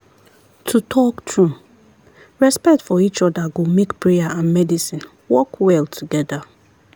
to talk true respect for each other go make prayer and medicine work well together.